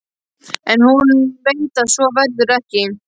En hún veit að svo verður ekki.